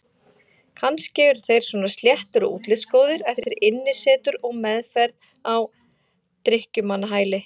Kannski eru þeir svona sléttir og útlitsgóðir eftir innisetur og meðferð á drykkjumannahæli.